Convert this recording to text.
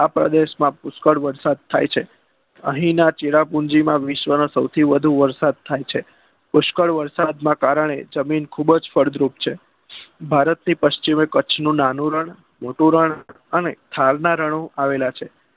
અહીના Cherrapunji માં વિશ્વના સૌથી વધુ વરસાદ થાય છે પુષ્કળ વરસાદ નાકારણે જમીન ખુબજ ફળદ્રુપ છે ભારત પચ્ચીમનું કચ્છનું નાનું રણ મોટું રણ અને ખારના રણો આવેલા છે